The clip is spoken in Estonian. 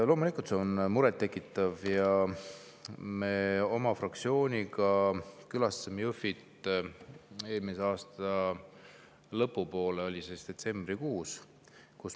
Loomulikult see on muret tekitav ja me oma fraktsiooniga külastasime Jõhvit eelmise aasta lõpu poole, detsembrikuus.